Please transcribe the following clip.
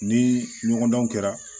Ni ɲɔgɔndanw kɛra